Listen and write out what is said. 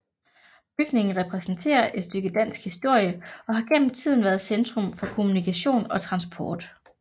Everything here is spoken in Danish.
Bygningen repræsenterer et stykke dansk historie og har gennem tiden været centrum for kommunikation og transport